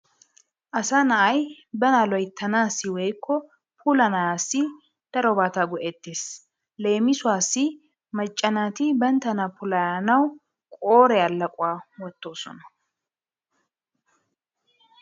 Asa na'ay bana loyttanaassi woykko puulayanaassi darobata go'ettees. Leemisuwassi macca naati banttana puulayanawu qooriya laquwa wottoosona.